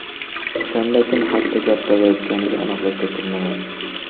O‘shanda kim haqida gap borayotganiga aniqlik kiritilmagan.